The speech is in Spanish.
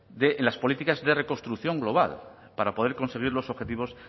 de en las políticas de reconstrucción global para poder conseguir los objetivos